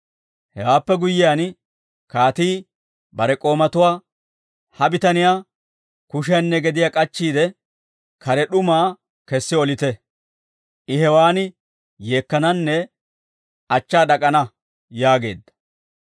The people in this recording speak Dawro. «Hewaappe guyyiyaan, kaatii bare k'oomatuwaa, ‹Ha bitaniyaa kushiyaanne gediyaa k'achchiide, kare d'umaa kessi olite; I hewaan yeekkananne achchaa d'ak'ana› yaageedda.